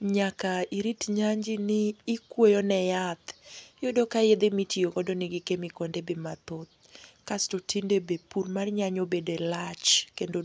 Nyaka irit nyanji ni ikweyo ne yath. Iyudo ka yedhe mitiyo kodo negi kemikonde be mathoth. Kasto tinde be pur mar nyanya obede lach kendo.